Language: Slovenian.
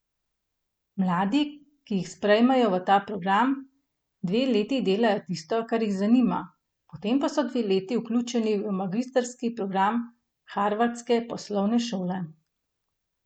Mladi, ki jih sprejmejo v ta program, dve leti delajo tisto, kar jih zanima, potem pa so dve leti vključeni v magistrski program Harvardske poslovne šole.